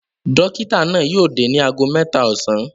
Dọ́kítá náà yóò dé ní ago mẹ́ta ọ̀sán.